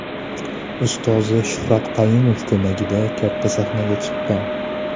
Ustozi Shuhrat Qayumov ko‘magida katta sahnaga chiqqan.